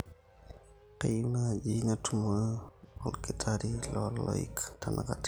kayieu naaji natumore olkitari loo loik tenakata